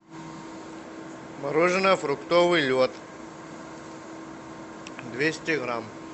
мороженое фруктовый лед двести грамм